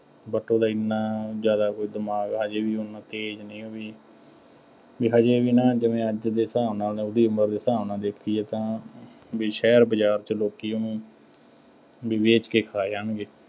but ਉਹਦਾ ਐਨਾ ਜ਼ਿਆਦਾ ਉਹ ਦਿਮਾਗ ਆ, ਹਜੇ ਵੀ ਓੱਨਾ ਤੇਜ਼ ਨਹੀਂ ਉਹ ਵੀ ਬਈ ਹਜੇ ਵੀ ਨਾ, ਜਿਵੇਂ ਅੱਜ ਦੇ ਹਿਸਾਬ ਦੇ ਨਾਲ, ਉਹਦੀ ਉਮਰ ਦੇ ਹਿਸਾਬ ਨਾਲ, ਦੇਖੀਏ ਤਾਂ ਬਈ ਸ਼ਹਿਰ ਬਾਜ਼ਾਰ ਚ ਲੋਕੀ ਉਹਨੂੰ ਬਈ ਵੇਚ ਕੇ ਖਾ ਜਾਣਗੇ।